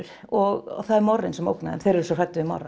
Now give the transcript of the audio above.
og það er Morrinn sem ógnar þeim þeir eru svo hræddir við